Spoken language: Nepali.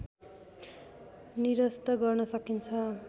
निरस्त गर्न सकिन्छ